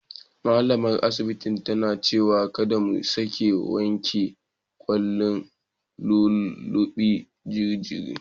Malamar asibitin ta ce kada mu sake wanke kyallen lullube jaririn.